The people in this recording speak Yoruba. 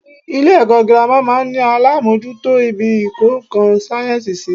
Ilé èkó girama máa n ní alámójútó ibi ìkó nkan sáyènsì sí